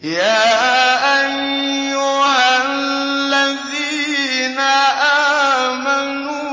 يَا أَيُّهَا الَّذِينَ آمَنُوا